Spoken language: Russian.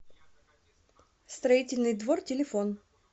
строительный двор телефон